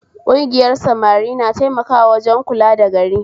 Kugiyar samari na taimakawa wajen kula da gari